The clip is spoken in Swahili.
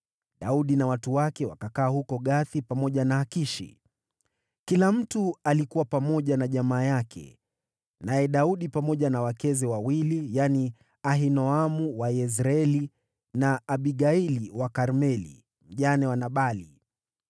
Daudi na watu wake wakakaa huko Gathi pamoja na Akishi. Kila mtu alikuwa pamoja na jamaa yake, naye Daudi pamoja na wakeze wawili: yaani Ahinoamu wa Yezreeli, na Abigaili wa Karmeli, mjane wa Nabali.